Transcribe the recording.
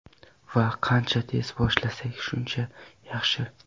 Va qancha tez boshlasak, shuncha yaxshi.